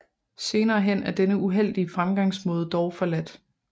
Senere hen er denne uheldige fremgangsmaade dog forladt